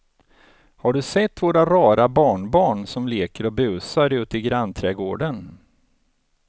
Har du sett våra rara barnbarn som leker och busar ute i grannträdgården!